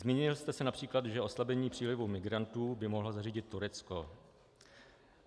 Zmínil jste se například, že oslabení přílivu migrantů by mohlo zařídit Turecko.